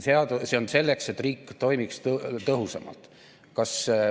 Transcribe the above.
See on selleks, et riik toimiks tõhusamalt.